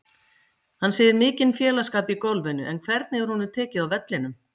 Hann segir mikinn félagsskap í golfinu en hvernig er honum tekið á vellinum?